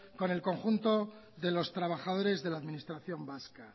con el conjunto de los trabajadores de la administración vasca